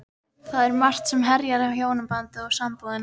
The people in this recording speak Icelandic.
Það er margt sem herjar á hjónabandið og sambúðina.